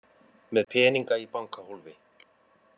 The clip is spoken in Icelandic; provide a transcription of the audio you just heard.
Með peninga í bankahólfi